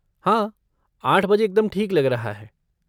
हाँ आठ बजे एकदम ठीक लग रहा है।